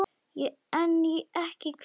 En ekki hver?